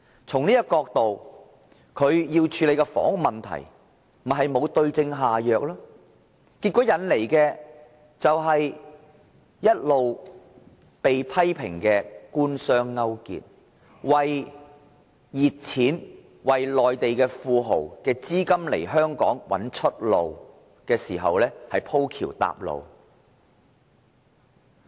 從這個角度而言，他在處理房屋問題上沒有對症下藥，結果一直被批評官商勾結，為熱錢、為內地富豪的資金"鋪橋搭路"，在香港找出路。